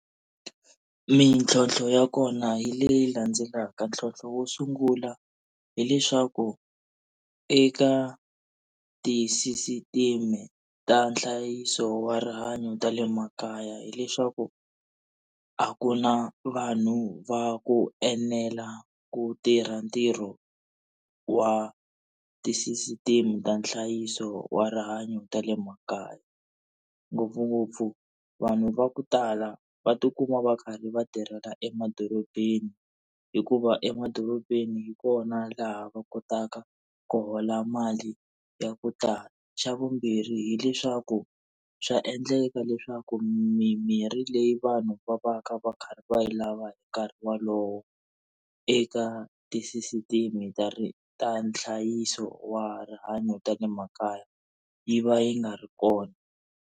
Mintlhontlho ya kona hi leyi landzelaka ntlhontlho wo sungula, hileswaku eka ti-system ta nhlayiso wa rihanyo ta le makaya hileswaku a ku na vanhu va ku enela ku tirha ntirho wa tisisiteme ta nhlayiso wa rihanyo ta le makaya. Ngopfungopfu vanhu va ku tala va tikuma va karhi va tirhela emadorobeni hikuva emadorobeni hi kona laha va kotaka ku hola mali ya ku tala. Xa vumbirhi hileswaku swa endleka leswaku mimirhi leyi vanhu va va ka va karhi va yi lava hi nkarhi wolowo eka tisisiteme ta ta nhlayiso wa rihanyo ta le makaya, yi va yi nga ri kona.